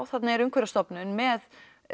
þarna er Umhverfisstofnun með